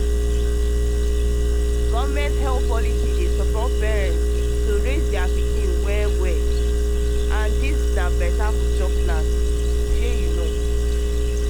government health policy support parents to raise pikin well this na better future plansshey you know